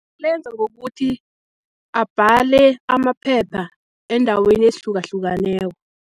Lenza ngokuthi abhale amaphepha eendaweni ezihlukahlukaneko.